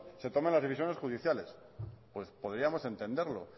se tomen las decisiones judiciales pues podríamos entenderlo